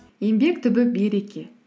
еңбек түбі береке